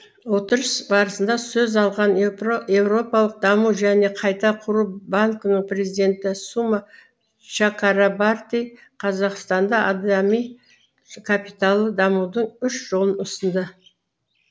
отырыс барысында сөз алған еуропалық даму және қайта құру банкінің президенті сума чакрабарти қазақстанда адами капиталды дамытудың үш жолын ұсынды